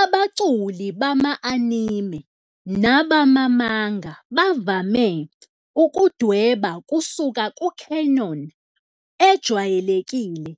Abaculi bama-anime nabama-manga bavame ukudweba kusuka ku-canon ejwayelekile